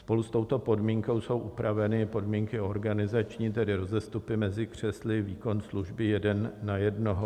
Spolu s touto podmínkou jsou upraveny podmínky organizační, tedy rozestupy mezi křesly, výkon služby jeden na jednoho.